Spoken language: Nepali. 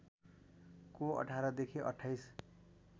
को १८ देखि २८